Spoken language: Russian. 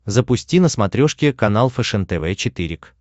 запусти на смотрешке канал фэшен тв четыре к